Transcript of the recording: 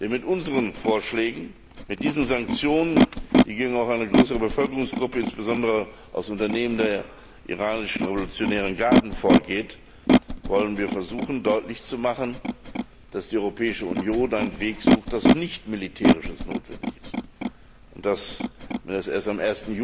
Denn mit unseren Vorschlägen, mit diesen Sanktionen, die auch gegen eine größere Bevölkerungsgruppe, insbesondere aus Unternehmen der iranischen revolutionären Garden, gerichtet sind, wollen wir versuchen, deutlich zu machen, dass die Europäische Union einen Weg sucht, bei dem kein militärisches Vorgehen notwendig ist, und dass, wenn sie erst am